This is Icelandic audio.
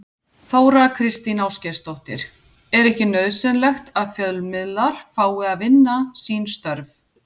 Þóra Kristín Ásgeirsdóttir: Er ekki nauðsynlegt að fjölmiðlar fái að vinna sín störf?